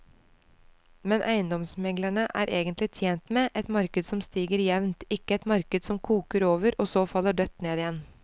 Men eiendomsmeglerne er egentlig tjent med et marked som stiger jevnt, ikke et marked som koker over og så faller dødt ned igjen.